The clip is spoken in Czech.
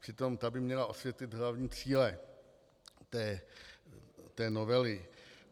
Přitom ta by měla osvětlit hlavní cíle té novely.